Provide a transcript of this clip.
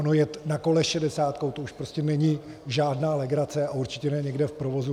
Ono jet na kole šedesátkou, to už prostě není žádná legrace a určitě ne někde v provozu.